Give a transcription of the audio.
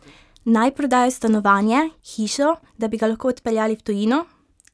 Naj prodajo stanovanje, hišo, da bi ga lahko odpeljali v tujino?